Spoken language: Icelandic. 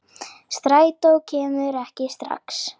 Strætó kemur ekki strax.